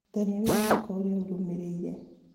tharia wĩra wakwa ũrĩa ũrũmĩrĩire